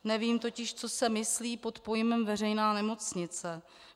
Nevím totiž, co se myslí pod pojmem veřejná nemocnice.